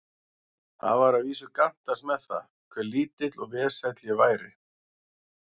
Það var að vísu gantast með það, hve lítill og vesæll ég væri.